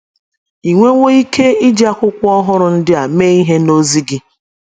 Ì nwewo ike iji akwụkwọ ọhụrụ ndị a mee ihe n’ozi gị?